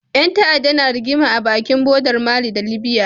Ƴan ta'adda na rigima a bakin bodar mali da libya